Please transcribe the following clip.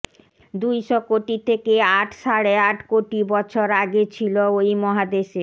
দুইশ কোটি থেকে আট সাড়ে আট কোটি বছর আগে ছিল ওই মহাদেশের